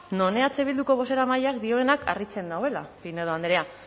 non eh bilduko bozeramaileak dioenak harritzen nauela pinedo andrea